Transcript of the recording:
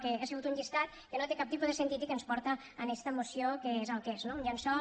que ha sigut un llistat que no té cap tipus de sentit i que ens porta a esta moció que és el que és no un llençol